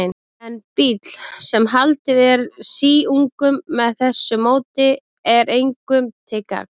En bíll, sem haldið er síungum með þessu móti, er engum til gagns.